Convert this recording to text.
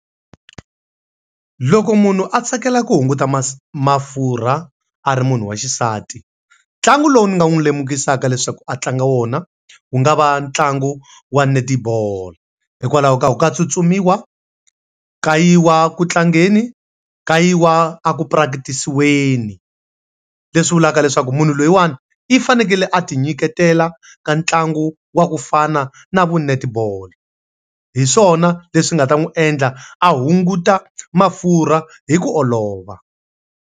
Loko munhu a tsakela ku hunguta mafurha a ri munhu wa xisati, ntlangu lowu ni nga n'wi lemukisaka leswaku a tlanga wona wu nga va ntlangu wa netibolo. Hikwalaho ka ku ka tsutsumiwa, ka yiwa ku tlangeni, ka yiwa a ku prakatisiweni. Leswi vulaka leswaku munhu loyiwani, i fanekele a ti nyiketela ka ntlangu wa ku fana na vu netball. Hi swona leswi nga ta n'wi endla a hunguta mafurha hi ku olova.